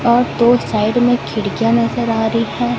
और दो साइड में खिड़कियां नजर आ री है।